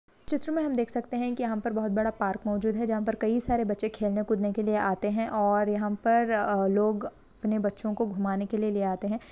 चित्र में हम देख सकते है की यहां पे बहुत बड़ा पार्क मोजूद है जहां पर कई सारे बच्चे खेलने कूदने के लिए आते है और यहां पर लोग अपने बच्चो को धूमाने के लिए ले आते है।